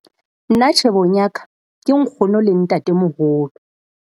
Nna tjhebong ya ka, ke nkgono le ntatemoholo.